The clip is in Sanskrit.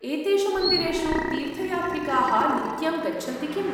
एतेषु मन्दिरेषु तीर्थयात्रिकाः नित्यं गच्छन्ति किम्?